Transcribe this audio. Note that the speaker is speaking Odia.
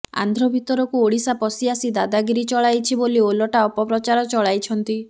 ଆନ୍ଧ୍ର ଭିତରକୁ ଓଡିଶା ପଶିଆସି ଦାଦାଗିରି ଚଳାଇଛି ବୋଲି ଓଲଟା ଅପପ୍ରଚାର ଚଳାଇଛନ୍ତି